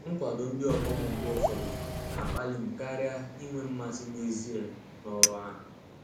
Nkwado ndị ọgbọ m mgbe ụfọdụ na-akpali m karịa inwe mmasị n'ezie n'ọrụ ahụ.